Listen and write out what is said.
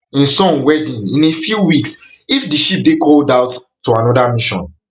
im son wedding in a few weeks if di ship dey called out to anoda mission